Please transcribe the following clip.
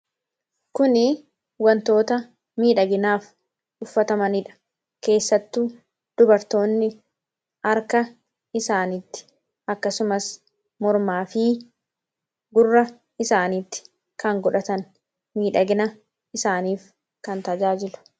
kuni wantoota miidhaginaaf uffatamaniidha keessattuu dubartoonni arka isaaniitti akkasumas mormaa fi gurra isaaniitti kan godhatan miidhagina isaaniif kan tajaajilu